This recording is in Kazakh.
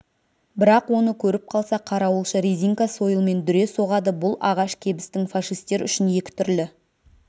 бірақ оны көріп қалса қарауылшы резинка сойылмен дүре соғады бұл ағаш кебістің фашистер үшін екі түрлі